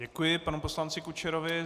Děkuji panu poslanci Kučerovi.